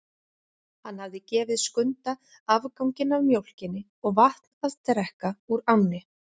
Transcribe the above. Hann hafði gefið Skunda afganginn af mjólkinni og vatn að drekka úr ánni.